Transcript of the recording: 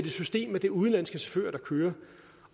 i system at det er udenlandske chauffører der kører